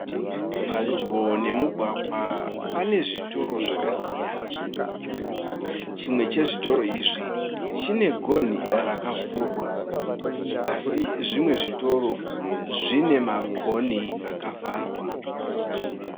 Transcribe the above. Padyo nemugwagwa pane zvitoro zvakasiyana chimwe chezvitoro izvi chine gonhi rakavhurwa , asi zvimwe zvezviitoro zvine magonhi akavharwa.